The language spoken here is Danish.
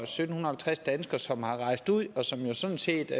sytten halvtreds danskere som er rejst ud og som jo sådan set